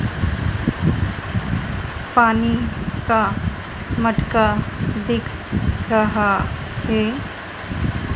पानी का मटका दिख रहा है।